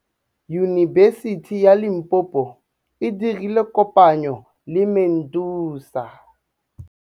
Yunibesiti ya Limpopo e dirile kopanyô le MEDUNSA.